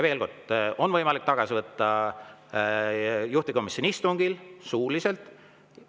Veel kord, neid on võimalik tagasi võtta juhtivkomisjoni istungil suuliselt.